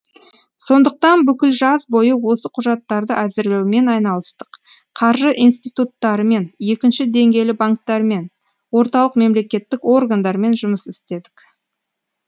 сондықтан бүкіл жаз бойы осы құжаттарды әзірлеумен айналыстық қаржы институттарымен екінші деңгейлі банктермен орталық мемлекеттік органдармен жұмыс істедік